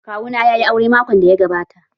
Kawu na yayi aure makon da ya gabata.